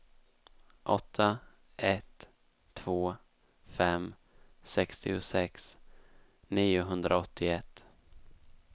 åtta ett två fem sextiosex niohundraåttioett